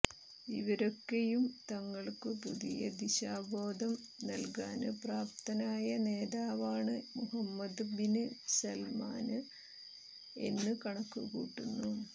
ഇവരൊക്കെയും തങ്ങള്ക്കു പുതിയ ദിശാബോധം നല്കാന് പ്രാപ്തനായ നേതാവാണ് മുഹമ്മദ് ബിന് സല്മാന് എന്നു കണക്കുകൂട്ടുന്നു